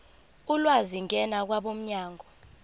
ulwazi ngena kwabomnyango